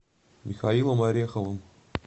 михаилом ореховым